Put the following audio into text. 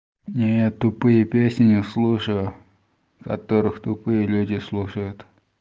не я тупые песни не слушаю которых тупые люди слушают